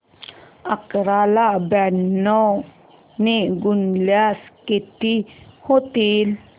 अकरा ला ब्याण्णव ने गुणल्यास किती होतील